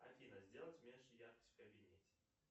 афина сделать меньше яркость в кабинете